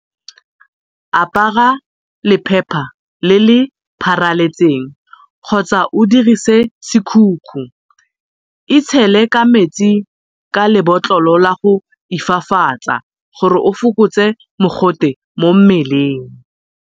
Apara lephepha le le pharaletseng kgotsa o dirise sekhukhu. Itshele ka metsi ka lebotlolo la go ifafatsa gore o fokotse mogote mo mmeleng.